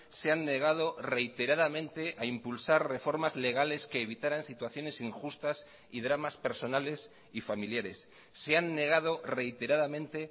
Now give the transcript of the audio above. se han negado reiteradamente a impulsar reformas legales que evitaran situaciones injustas y dramas personales y familiares se han negado reiteradamente